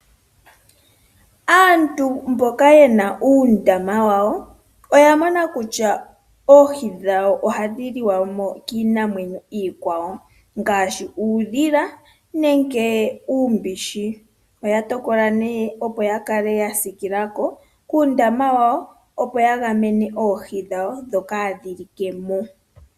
Aantu mboka yena uundama wawo, oya mona kutya oohi ohadhi liwamo kiinamwenyo iikwawo ngaashi uudhila nenge uumbishi. Oya tokola nee opo yakale yasiikilako kuundama wawo ooo ya gamene oohi dhawo dhoka hadhi likamo.